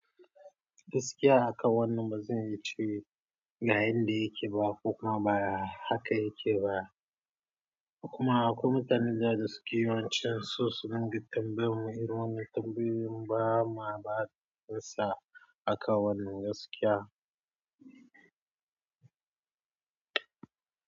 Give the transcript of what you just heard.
Gaskiya akan wannan bazan iya ce ga yanda yake ba ko kuma baya haka yake ba. Kuma akwai mutane da za su ki yawon cin so su dinga tambayar mu irin wannan tambayoyin ba ma basu amsa akan wannan gaskiya.